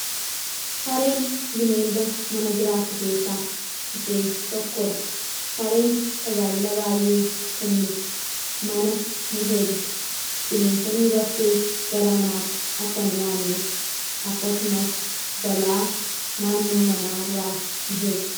sareen bineelda mana jiraattu keessaa ishee tokkodha sareen tajaajila baay'ee kenniti. mana ni eegdi. bineensonni bakkee gara manaatti akka hin dhiyaanneef akkasumas balaa naannoo manaa irraa in eegdi.